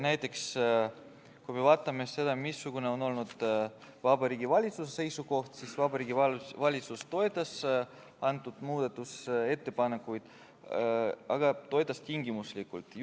Näiteks, kui me vaatame seda, missugune on olnud Vabariigi Valitsuse seisukoht, siis Vabariigi Valitsus toetas muudatusettepanekuid, aga toetas tingimuslikult.